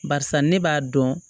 Barisa ne b'a dɔn